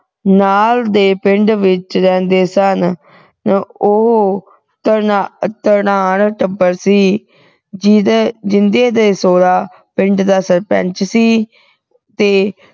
ਨਾਲ ਦੇ ਪਿੰਡ ਵਿਚ ਰਹਿੰਦੇ ਸਨਨਾ ਉਹ ਧਨਾ ਧਨਾਢ ਟੱਬਰ ਸੀ ਜਿਦੇ ਜਿੰਦੇ ਦੇ ਸਹੁਰਾ ਪਿੰਡ ਦਾ ਸਰਪੰਚ ਸੀ ਤੇ